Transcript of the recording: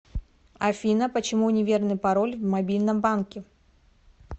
афина почему неверный пароль в мобильном банке